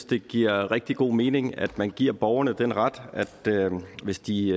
det giver rigtig god mening at man giver borgerne den ret at de hvis de